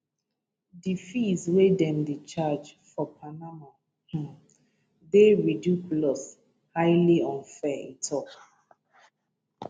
di fees wey dem dey charge for panama um dey ridiculous highly unfair e tok am